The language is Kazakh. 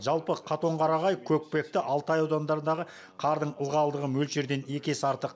жалпы катонқарағай көкпекті алтай аудандарындағы қардың ылғалдығы мөлшерден екі есе артық